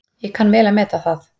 Ég kann vel að meta það.